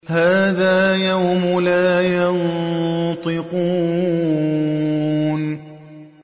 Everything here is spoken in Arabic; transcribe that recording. هَٰذَا يَوْمُ لَا يَنطِقُونَ